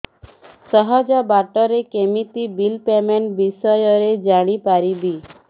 ସହଜ ବାଟ ରେ କେମିତି ବିଲ୍ ପେମେଣ୍ଟ ବିଷୟ ରେ ଜାଣି ପାରିବି